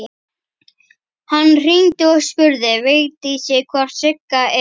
Hann hringdi og spurði Vigdísi hvort Sigga eða